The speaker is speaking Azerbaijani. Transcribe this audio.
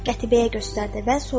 Qətibəyə göstərdi və soruşdu.